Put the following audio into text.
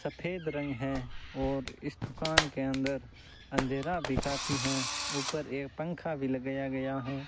सफेद रंग है और इस दुकान के अंदर अंधेरा भी काफी हैं उपर एक पंखा भी लगाया गया है।